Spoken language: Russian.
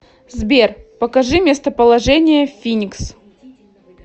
сбер покажи местоположение финикс